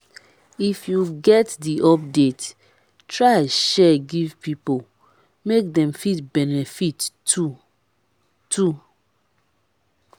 if you get the update try share give pipo make dem fit benefit too too